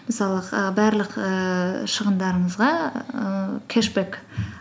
мысалы барлық ііі шығындырыңызға ііі кэшбэк